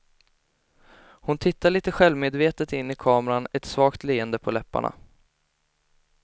Hon tittar lite självmedvetet in i kameran, ett svagt leende på läpparna.